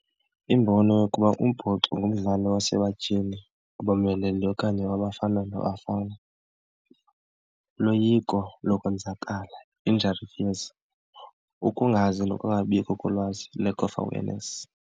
Imbono yokuba umbhoxo ngumdlalo wasebatyhini abomeleleyo okanye wabafana nabafana. Uloyiko lokwenzakala, injury fears. Ukungazi nokungabikho kolwazi, lack of awareness.